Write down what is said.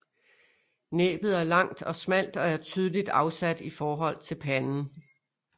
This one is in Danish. Næbbet er langt og smalt og er tydeligt afsat i forhold til panden